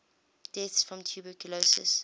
deaths from tuberculosis